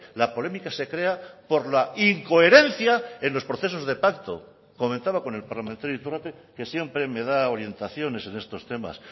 la polémica se crea por la incoherencia en los procesos de pacto comentaba con el parlamentario iturrate que siempre me da orientaciones en estos temas